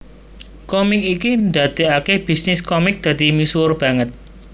Komik iki ndadekake bisnis komik dadi misuwur banget